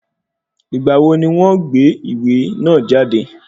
Ìgbà wo ni wọ́n gbé ìwé náà jáde?